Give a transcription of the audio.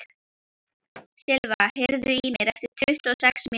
Silva, heyrðu í mér eftir tuttugu og sex mínútur.